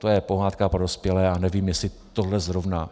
To je pohádka pro dospělé a nevím, jestli tohle zrovna...